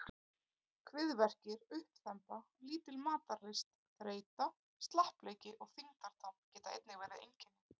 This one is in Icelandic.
Kviðverkir, uppþemba, lítil matarlyst, þreyta, slappleiki og þyngdartap geta einnig verið einkenni.